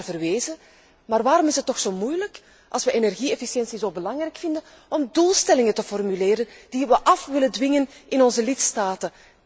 U hebt er wel naar verwezen, maar waarom is het toch zo moeilijk, als we energie efficiëntie zo belangrijk vinden, om doelstellingen te formuleren die we willen afdwingen in onze lidstaten.